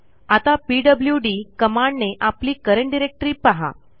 आता पीडब्ल्यूडी कमांडने आपली करंट डायरेक्टरी पहा